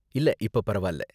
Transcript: இல்ல இப்ப பரவால்ல